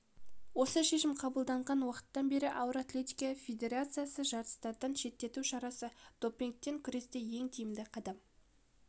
осы шешім қабылданған уақыттан бері ауыр атлетика федерациясы жарыстардан шеттету шарасы допингпен күресте ең тиімді қадам